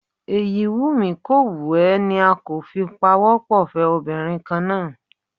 Èyí wù mí kò wù ẹ́ ni a kò fi pawọ́ pọ̀ fẹ́ obìnrin kan náà